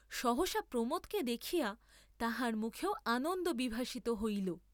সহসা প্রমোদকে দেখিয়া তাহার মুখেও আনন্দ বিভাসিত হইল।